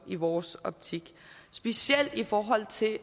i vores optik specielt i forhold til